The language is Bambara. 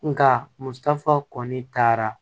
Nka musaka kɔni taara